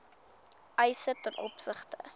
eise ten opsigte